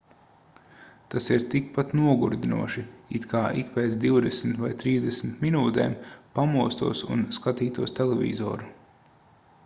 tas ir tikpat nogurdinoši it kā ik pēc divdesmit vai trīsdesmit minūtēm pamostos un skatītos televizoru